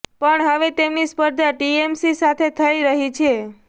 પણ હવે તેમની સ્પર્ધા ટીએમસી સાથે થઈ રહી છે